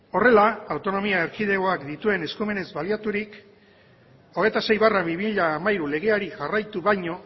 horrela autonomia erkidegoak dituen eskumenez baliaturik hogeita sei barra bi mila hamairu legeari jarraitu baino